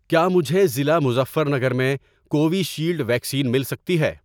کیا مجھے ضلع مظفر نگر میں کووِشیلڈ ویکسین مل سکتی ہے؟